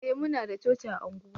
eh muna da coci a unguwa